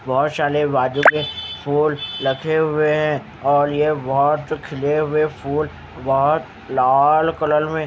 बहुत शाले बाजू के फूल रखे हुए हैं और ये बहुत खिले हुए फूल बहुत लाल कलल में।